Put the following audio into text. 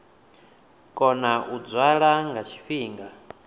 kona u dzwala nga tshifhinga